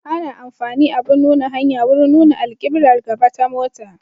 Ana amfani abin nuna hanya wurin nuna alkiblar gaba ta mota.